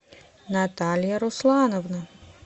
наталья руслановна